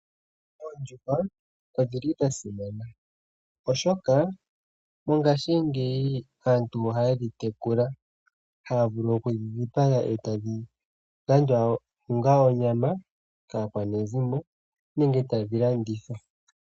Oondjuhwa odhi li dha simana, oshoka mongashingeyi aantu ohaye dhi tekula, haya vulu oku dhi dhipaga etadhi landwa onga onyama kaakwanezimo nenge ta dhi landithwa.